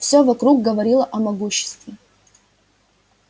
всё вокруг говорило о могуществе